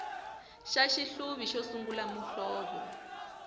xa xihluvi xo sungula muhlovo